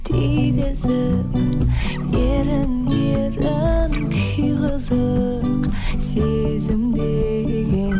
тигізіп ерінге ерін күй қызық сезім деген